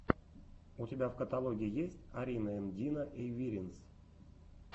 у тебя в каталоге есть арина энд дина эйвиринс